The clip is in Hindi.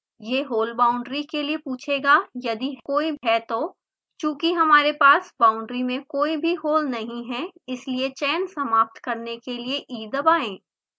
यह hole बाउंड्री के लिए पूछेगा यदि कोई है तो चूँकि हमारे पास बाउंड्री में कोई भी hole नहीं है इसलिए चयन समाप्त करने के लिए e दबाएँ